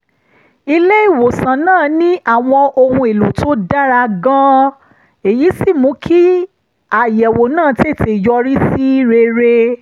ilé-ìwòsàn náà ní àwọn ohun èlò tó dára gan-an èyí sì mú kí àyẹ̀wò náà tètè yọrí sí rere